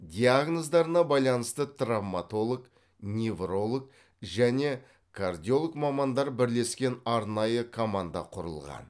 диагноздарына байланысты травмотолог невролог және кардиолог мамандар бірлескен арнайы команда құрылған